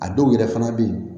A dɔw yɛrɛ fana bɛ yen